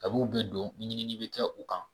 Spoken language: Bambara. kab'u bɛ don ɲinini bɛ kɛ u kan